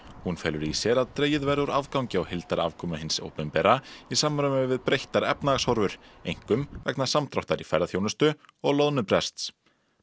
hún felur í sér að dregið verði úr afgangi á heildarafkomu hins opinbera í samræmi við breyttar efnahagshorfur einkum vegna samdráttar í ferðaþjónustu og loðnubrests